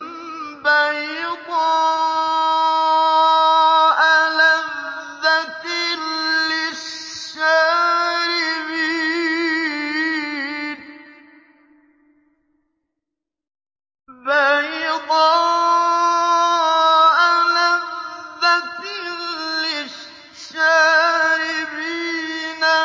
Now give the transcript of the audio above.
بَيْضَاءَ لَذَّةٍ لِّلشَّارِبِينَ